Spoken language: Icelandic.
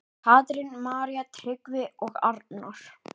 Katrín, María, Tryggvi og Arnar.